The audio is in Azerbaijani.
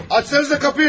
Açsanıza qapıyı!